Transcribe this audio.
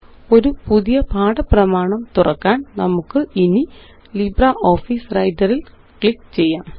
ഒരു പുതിയ പാഠ പ്രമാണം തുറക്കാന് നമുക്കിനി ലിബ്രിയോഫീസ് വ്രൈട്ടർ ല് ക്ലിക്ക് ചെയ്യാം